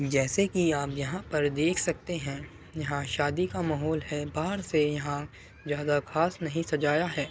जैसे कि आप यहां पर देख सकते हैं यहां शादी का माहोल है बहार से यहाँ ज्यादा खास नही सजाया है।